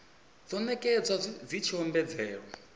dzo nekedzwa dzi tshi ombedzela